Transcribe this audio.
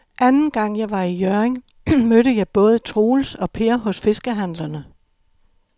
Anden gang jeg var i Hjørring, mødte jeg både Troels og Per hos fiskehandlerne.